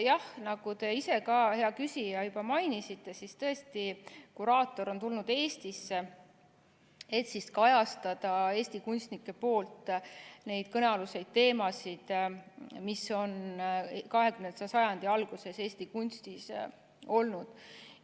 Jah, nagu te ise ka, hea küsija, juba mainisite, siis tõesti kuraator on tulnud Eestisse, et kajastada Eesti kunstnike poolt kõnealuste, 20. sajandi alguses Eesti kunstis olnud teemade.